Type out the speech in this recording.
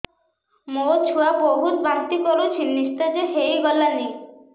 ମୋ ଛୁଆ ବହୁତ୍ ବାନ୍ତି କରୁଛି ନିସ୍ତେଜ ହେଇ ଗଲାନି